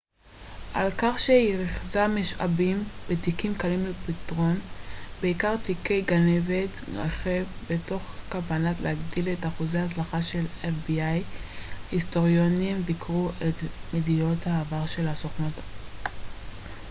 היסטוריונים ביקרו את מדיניות העבר של ה־fbi על כך שהיא ריכזה משאבים בתיקים קלים לפתרון בעיקר תיקי גנבת רכב מתוך כוונה להגדיל את אחוזי ההצלחה של הסוכנות